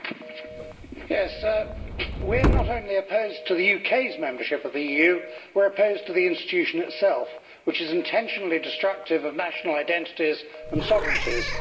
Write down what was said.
Mr President, we are not only opposed to the UK's membership of the EU, we are opposed to the institution itself, which is intentionally destructive of national identities and sovereignties.